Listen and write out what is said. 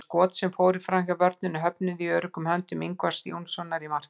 Þau skot sem fóru framhjá vörninni höfnuðu í öruggum höndum Ingvars Jónssonar í markinu.